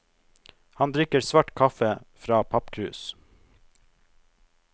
Han drikker svart kaffe fra pappkrus.